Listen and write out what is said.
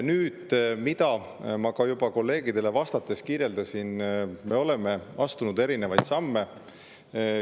Nüüd, ma seda juba ka teie kolleegidele vastates kirjeldasin, et me oleme astunud erinevaid samme.